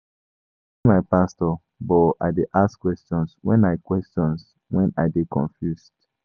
I dey obey my pastor but I dey ask questions wen I questions wen I dey confused.